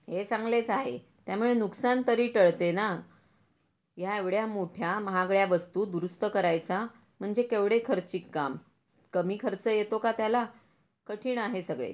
हे चांगलेच आहे त्या मुळे नुकसान तरी टळते ना या एवढ्या मोठ्या महागड्या वस्तू दुरुस्त करायचा म्हणजे केवढे खर्चिक काम कमी खर्च येतो का त्याला कठीण आहे सगळे.